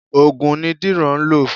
Ògùn ni Dìran ń lọ.